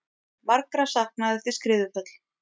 Margra saknað eftir skriðuföll